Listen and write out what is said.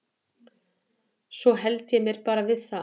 Svo hélt ég mér bara við það.